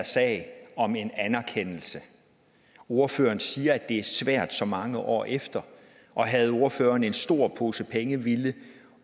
sag om en anerkendelse ordføreren siger at det er svært så mange år efter og havde ordføreren haft en stor pose penge ville